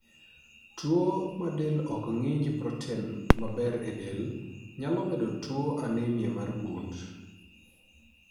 Tuo ma del ok ng'inj proten maber e del nyalo medo tuo anemia mar gund